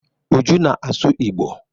Uju na-asu igbo.